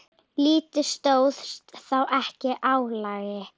Liðið stóðst þá ekki álagið.